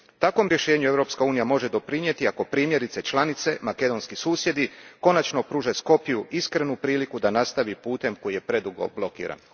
Takvom rješenju Europska unija može doprinijeti, ako primjerice, članice makedonski susjedi konačno pruže Skopju iskrenu priliku da nastavi putem koji je predugo blokiran.